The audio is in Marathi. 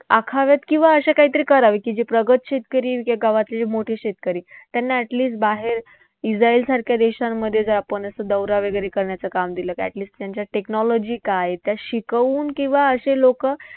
आखाव्यात किंवा अशा काहीतरी करावी की जे प्रगत शेतकरी गावातले जे मोठे शेतकरी त्यांना at least बाहेर इस्राईलसारख्या देशांमध्ये जर आपण असं दौरा वैगरे करण्याचं काम दिलं at least त्यांच्या technology काय आहेत, त्या शिकवून किंवा असे लोकं